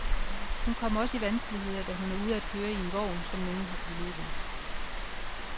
Hun kommer også i vanskeligheder, da hun er ude at køre i en vogn, som nogen har pillet ved.